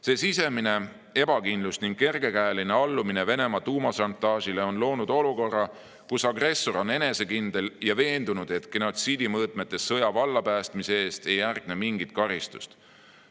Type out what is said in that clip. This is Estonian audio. See sisemine ebakindlus ning kergekäeline allumine Venemaa tuumašantaažile on loonud olukorra, kus agressor on enesekindel ja veendunud, et genotsiidimõõtmetes sõja vallapäästmise eest ei järgne mingit karistust.